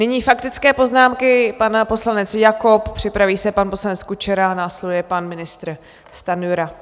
Nyní faktické poznámky - pan poslanec Jakob, připraví se pan poslanec Kučera, následuje pan ministr Stanjura.